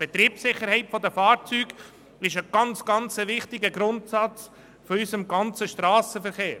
Die Betriebssicherheit der Fahrzeuge ist ein sehr wichtiger Grundsatz in unserem Strassenverkehr.